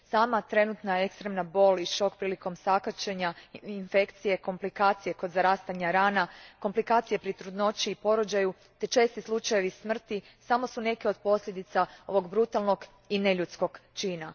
Sama trenutna ekstremna bol i šok prilikom sakaćenja, infekcije i komplikacije kod zarastanja rana, komplikacije pri trudnoći i porođaju te česti slučajevi smrti samo su neke od posljedica ovog brutalnog i neljudskog čina.